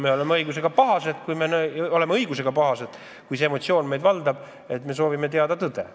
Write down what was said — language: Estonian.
Me oleme õigusega pahased, meid valdab just see emotsioon, ja me soovime teada saada tõde.